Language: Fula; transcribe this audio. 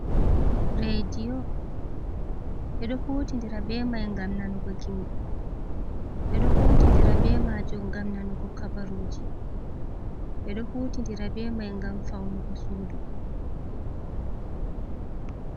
Redio ɓeɗo huti ndira be mai ngam nanugo gimi. Ɓeɗo huti ndira be majum ngam nanugo habaruji. Ɓeɗo huti ndira be mai ngam faunugo sudu.